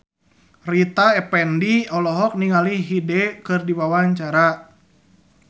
Rita Effendy olohok ningali Hyde keur diwawancara